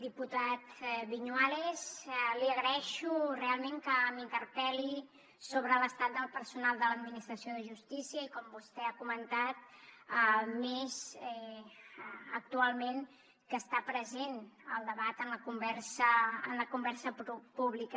diputat viñuales li agraeixo realment que m’interpel·li sobre l’estat del personal de l’administració de justícia i com vostè ha comentat més actualment que està present el debat en la conversa pública